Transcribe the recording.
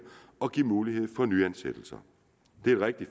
og give mulighed for nyansættelser det er et rigtig